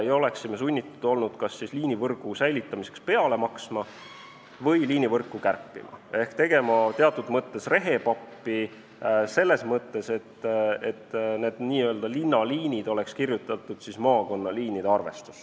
Me oleksime olnud sunnitud sel juhul kas liinivõrgu säilitamiseks peale maksma või liinivõrku kärpima ehk n-ö tegema rehepappi selles mõttes, et linnaliinid oleks kirjutatud siis maakonnaliinide arvestusse.